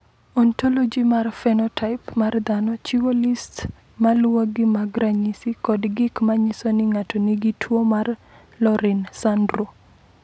"Ontoloji mar phenotaip mar dhano chiwo list ma luwogi mag ranyisi kod gik ma nyiso ni ng’ato nigi tuwo mar Laurin Sandrow."